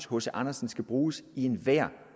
hc andersen skal bruges i enhver